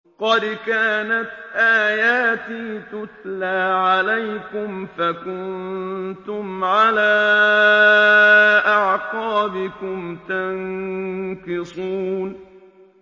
قَدْ كَانَتْ آيَاتِي تُتْلَىٰ عَلَيْكُمْ فَكُنتُمْ عَلَىٰ أَعْقَابِكُمْ تَنكِصُونَ